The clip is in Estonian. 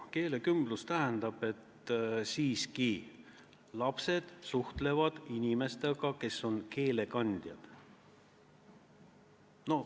Keelekümblus tähendab, et lapsed siiski suhtlevad inimestega, kes on keele kandjad.